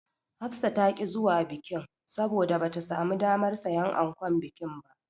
Hafsa ta ƙi zuwa bikin, saboda bata samu damar siyan ankon bikin ba.